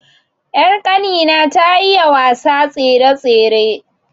Ƴar kani na ta iya wasa tsere-tsere